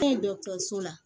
An ye dɔgɔtɔrɔso la